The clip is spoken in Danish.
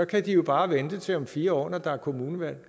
kan de jo bare vente til om fire år når der er kommunevalg